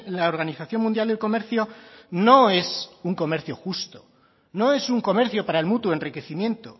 la organización mundial del comercio no es un comercio justo no es un comercio para el mutuo enriquecimiento